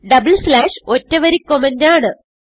double slash ഒറ്റ വരി comment ആണ്